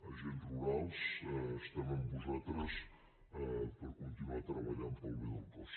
agents rurals estem amb vosaltres per continuar treballant pel bé del cos